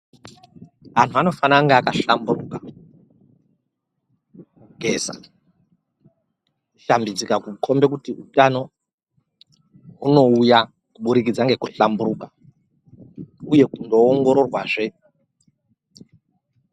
Anhu anofana kunge aka hlamburuka. Kugeza, kusha mbidzika kukombe kuti utano hunouya kuburikidza ngeku hlamburuka uye kuzo ongororwa zve.